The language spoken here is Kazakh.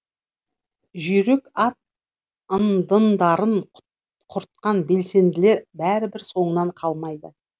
жүйрік ат ындындарын құртқан белсенділер бәрібір соңынан қалмайды